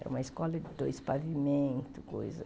Era uma escola de dois pavimentos, coisa.